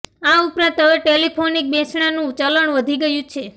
આ ઉપરાંત હવે ટેલિફોનિક બેસણાનું ચલણ વધી ગયું છે